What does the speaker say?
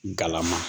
Galama